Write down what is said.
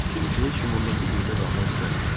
Çünki heç kim ondan bir yerdə qalmaq istəmirdi.